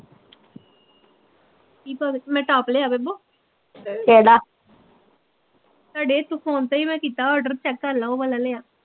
ਕੀ ਪਾ ਕੇ ਮੈਂ ਟੋਪ ਲਿਆ ਬੇਬੋ ਤੁਹਾਡੇ ਹੇਥੋਂ ਫ਼ੋਨ ਤੇ ਈ ਮੈਂ ਕੀਤਾ ਓਡਰ ਚੈੱਕ ਕਰਲਾ ਓਹ ਵਾਲਾ ਲਿਆ